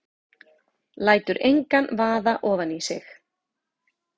Lætur engan vaða ofan í sig.